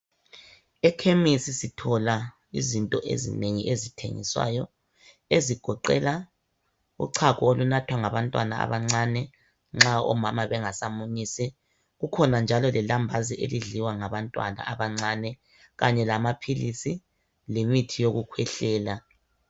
Ekhemisi sithola izinto ezinengi ezithengiswayo ezigoqela uchago olunathwa ngabantwana abancane nxa omama bengasamunyisi kukhona njalo lelambazi elidliwa ngabantwana abancane kanye lamaphilisi lemithi yokukhwehlela.